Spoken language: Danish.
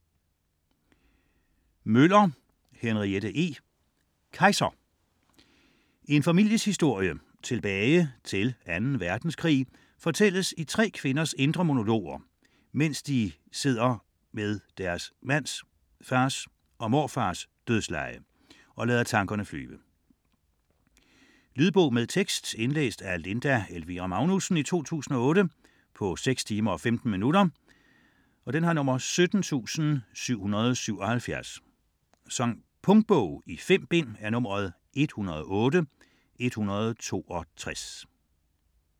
Møller, Henriette E.: Kaiser En families historie tilbage til 2. verdenskrig fortælles i tre kvinders indre monologer, mens de sidder ved deres mands, fars, morfars dødsleje og lader tankerne flyve. Lydbog med tekst 17777 Indlæst af Linda Elvira Magnussen, 2008. Spilletid: 6 timer, 15 minutter. Punktbog 108162 2008. 5 bind.